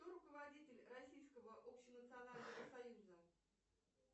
кто руководитель российского общенационального союза